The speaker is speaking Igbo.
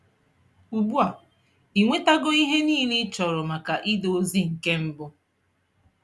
Ugbua, I Nwetago ihe niile ichọrọ maka ide ozi nke mbụ.